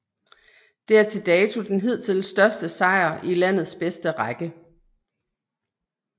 Det er til dato den hidtil største sejr i landets bedste række